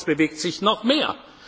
Ich hoffe, es bewegt sich noch